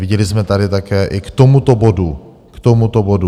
Viděli jsme tady také i k tomuto bodu - k tomuto bodu!